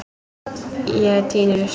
Ég tíni rusl.